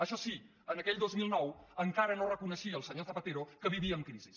això sí en aquell dos mil nou encara no reconeixia el senyor zapatero que vivia en crisi